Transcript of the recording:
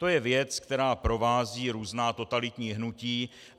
To je věc, která provází různá totalitní hnutí.